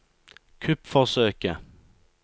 kuppforsøket